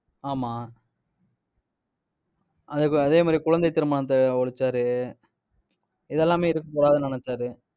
ஆமா அதே மாதிரி, குழந்தை திருமணத்தை ஒழிச்சாரு இதெல்லாமே இருக்கக்கூடாதுனு நினைச்சாரு